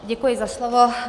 Děkuji za slovo.